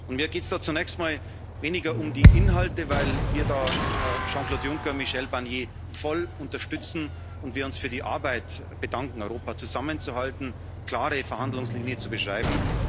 Und mir geht es da zunächst mal weniger um die Inhalte, weil wir da Jean Claude Juncker und Michel Barnier voll unterstützen und wir uns für die Arbeit bedanken, Europa zusammenzuhalten, klare Verhandlungslinien zu beschreiben.